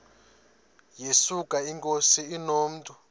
yesuka inkosi inomntu